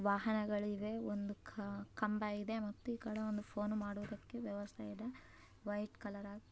ವಾಹನ ಇದೆ ಕಂಬ ಇದೆ ಮತ್ತೆ ಈ ಕಡೆ ಫೋನ್ ಮಾಡೋದಿಕ್ಕೆ ವ್ಯವಸ್ಥೆಯಿದೆ ವೈಟ್ ಕಲರ --